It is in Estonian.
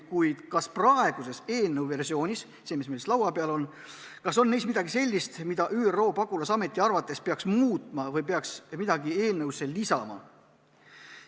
Ta küsis, kas praeguses eelnõu versioonis – selles, mis meil laua peal on – on midagi sellist, mida ÜRO pagulasameti arvates peaks muutma või peaks midagi eelnõusse lisama.